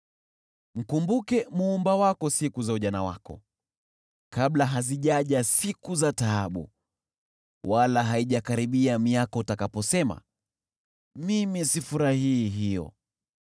Mkumbuke Muumba wako siku za ujana wako, kabla hazijaja siku za taabu, wala haijakaribia miaka utakaposema, “Mimi sifurahii hiyo”: